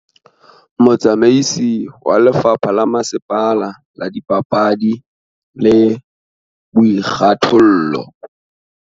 Motsamaisi wa lefapha la masepala la dipapadi le boikgathollo